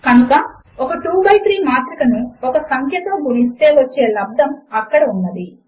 కనుక ఒక 2 బై 3 మాత్రిక ను ఒక సంఖ్యతో గుణిస్తే వచ్చే లబ్దము అక్కడ ఉన్నది